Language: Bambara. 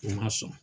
U ma sɔn